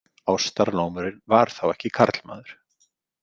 Ástarlómurinn var þá ekki karlmaður.